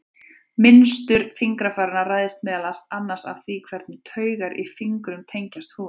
Mynstur fingrafaranna ræðst meðal annars af því hvernig taugar í fingrunum tengjast húðinni.